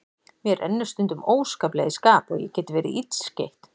Mér rennur stundum óskaplega í skap og ég get verið illskeytt.